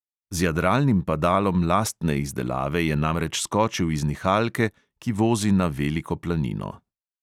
Z jadralnim padalom lastne izdelave je namreč skočil iz nihalke, ki vozi na veliko planino.